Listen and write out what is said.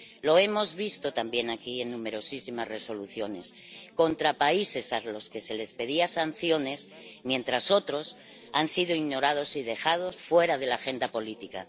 Lo hemos visto también aquí en numerosísimas resoluciones contra países a los que se les imponía sanciones mientras otros han sido ignorados y dejados fuera de la agenda política.